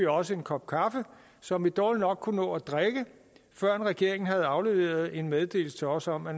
også en kop kaffe som vi dårligt nok kunne nå at drikke førend regeringen havde afleveret en meddelelse til os om at